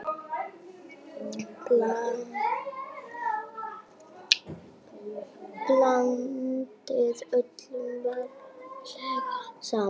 Blandið öllu varlega saman.